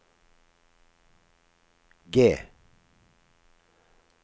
G